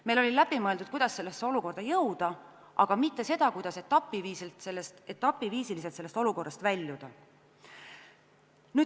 Meil oli läbi mõeldud, kuidas sellesse olukorda jõuda, aga mitte see, kuidas etapi viisil sellest olukorrast väljuda.